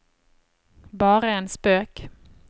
bare en spøk